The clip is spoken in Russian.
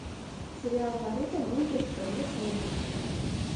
сериал наруто ниндзя в стране снега